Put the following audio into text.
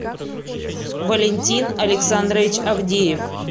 валентин александрович авдеев